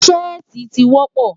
Ṣẹ́ẹ̀tì ti dọ̀pọ̀.